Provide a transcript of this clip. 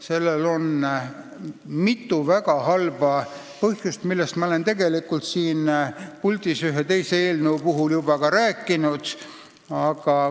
Siin on mitu väga halba tagajärge, millest ma olen siin puldis ühe teise eelnõu arutelul juba ka rääkinud.